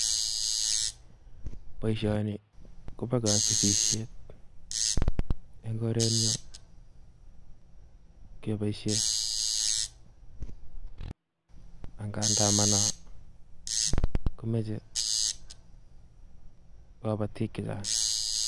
Boishoni kobo kobosishet, en korenyon keboishien angandan manan komoche kobootik chechang,